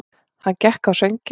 Hann gekk á sönginn.